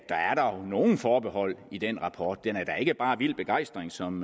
nogle forbehold i den rapport den udtrykker da ikke bare vild begejstring som